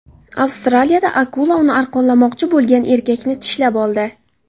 Avstraliyada akula uni arqonlamoqchi bo‘lgan erkakni tishlab oldi.